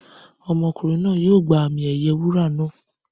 Ọmọkùnrin náà yóò gba àmì ẹ̀yẹ wúrà naa.